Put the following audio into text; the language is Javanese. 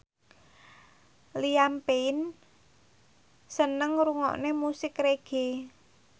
Liam Payne seneng ngrungokne musik reggae